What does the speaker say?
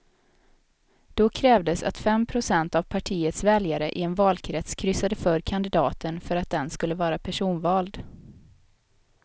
Då krävdes att fem procent av partiets väljare i en valkrets kryssade för kandidaten för att den skulle vara personvald.